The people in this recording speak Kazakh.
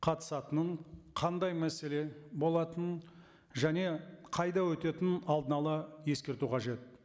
қатысатынын қандай мәселе болатынын және қайда өтетінін алдын ала ескерту қажет